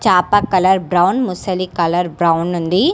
చాప colour brown మొసలి colour brown ఉంది.